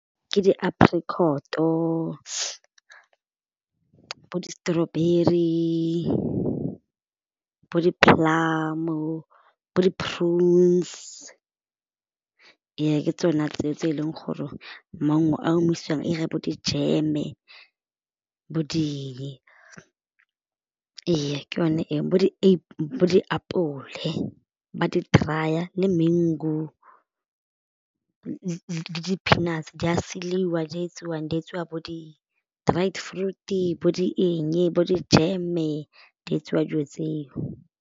ke di-apricot-o, bo di-strawberry, bo di-plum-o, bo di-prunes ee ke tsona tse tse e leng gore maungo a omisiwang 'ira bo dijeme bo eng, ee ke yone e bo , bo di apole ba di dry-a le mango, le di-peanuts di a seliwa di etsiwang di tsiwa bo di dried fruit bo di eng bo dijeme di etsiwa dijo tseo.